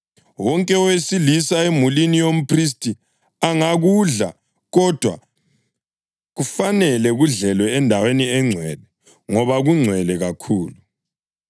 Wonke owesilisa emulini yomphristi angakudla, kodwa kufanele kudlelwe endaweni engcwele; ngoba kungcwele kakhulu.